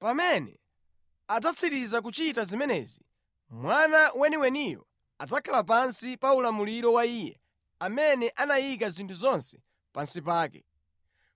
Pamene adzatsiriza kuchita zimenezi, Mwana weniweniyo adzakhala pansi pa ulamuliro wa Iye amene anayika zinthu zonse pansi pake,